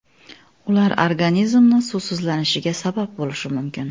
Ular organizmni suvsizlanishiga sabab bo‘lishi mumkin.